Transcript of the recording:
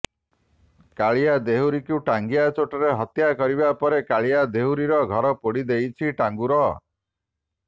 କାଳିଆ ଦେହୁରୀକୁ ଟାଙ୍ଗିଆ ଚୋଟରେ ହତ୍ୟା କରିବା ପରେ କାଳିଆ ଦେହୁରୀର ଘର ପୋଡି ଦେଇଛି ଟାଙ୍ଗୁର